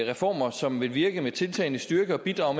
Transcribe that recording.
reformer som vil virke med tiltagende styrke og bidrage